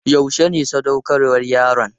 Yaushe ne sadaukarwar yaron?